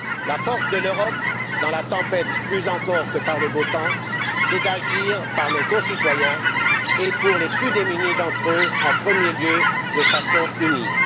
La force de l'Europe dans la tempête, plus encore que par beau temps, c'est d'agir pour nos concitoyens et, pour les plus démunis d'entre eux, en premier lieu de façon unie.